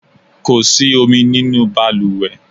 Kó sì omi nínú baluwe